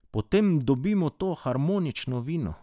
Potem dobimo to harmonično vino.